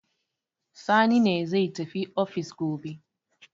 Sani ne ne zai tafi ofis gobe.